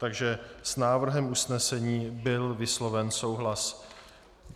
Takže s návrhem usnesení byl vysloven souhlas.